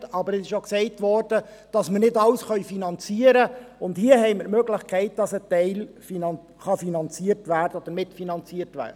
Aber es wurde auch gesagt, dass wir nicht alles finanzieren können, und hier haben wir die Möglichkeit, dass ein Teil finanziert werden kann oder mitfinanziert wird.